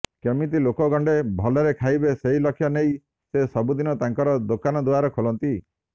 କେମିତି ଲୋକେ ଗଣ୍ଡେ ଭଲରେ ଖାଇବେ ସେହି ଲକ୍ଷ୍ୟ ନେଇ ସେ ସବୁଦିନ ତାଙ୍କର ଦୋକାନ ଦୁଆର ଖୋଲନ୍ତି